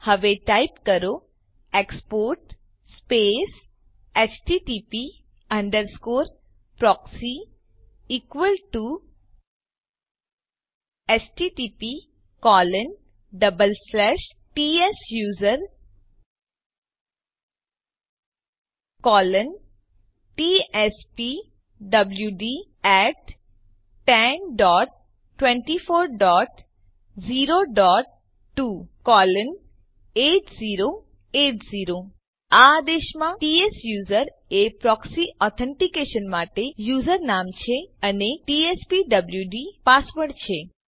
હવે ટાઈપ કરો export space HTTP underscore proxy equal to httptsusertspwd1024028080 આ આદેશમાં ત્સુસેર એ પ્રોક્સી ઓથ્ન્તીકેશન માટે યુઝરનામ છે અને ટીએસપીડબ્લ્યુડ પાસવર્ડ છે